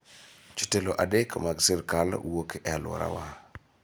Jotelo adek mag sirkal wuok e alworawa.